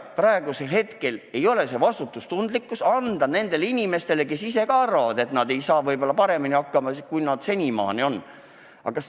Praegu ei ole vastutustundlik anda selline ülesanne nendele inimestele, kes ka ise arvavad, et võib-olla nad ei saa paremini hakkama, kui nad senimaani on saanud.